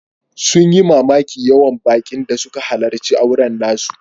Sun yi mamakin yawan bakin da suka halarci auren nasu.